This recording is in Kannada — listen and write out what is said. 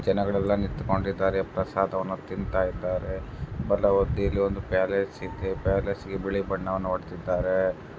ಜನಗಳೆಲ್ಲ ನಿಂತು ಕೊಂಡಿದ್ದಾರೆ ಪ್ರಸಾದವನ್ನು ತಿಂತಾ ಇದ್ದಾರೆ ಬಲ ಬದಿಯಲ್ಲಿ ಒಂದು ಪ್ಯಾಲೆಸ್ ಇದೆ ಪ್ಯಾಲೇಸ್ಗೆ ಬಿಳಿ ಬಣ್ಣವನ್ನು ಹೊಡೆದಿದ್ದಾರೆ.